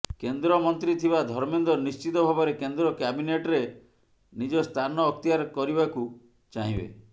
କେନ୍ଦ୍ରମନ୍ତ୍ରୀ ଥିବା ଧର୍ମେନ୍ଦ୍ର ନିଶ୍ଚିତ ଭାବରେ କେନ୍ଦ୍ର କ୍ୟାବିନେଟ୍ରେ ନିଜ ସ୍ଥାନ ଅକ୍ତିଆର କରିବାକୁ ଚାହିଁବେ